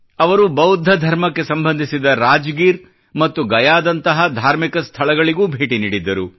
ಅವರು ಬೌದ್ಧ ಧರ್ಮಕ್ಕೆ ಸಂಬಂಧಿಸಿದ ರಾಜಗೀರ್ ಮ್ತತು ಗಯಾ ದಂತ ಧಾರ್ಮಿಕ ಸ್ಥಳಗಳಿಗೂ ಭೇಟಿ ನೀಡಿದ್ದರು